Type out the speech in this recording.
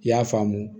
I y'a faamu